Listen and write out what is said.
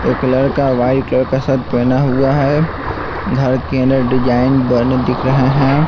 एक लड़का white colour का शर्ट पहना हुआ है घर के अंदर डिजाइन बने दिख रहे हैं।